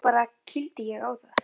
Svo bara. kýldi ég á það.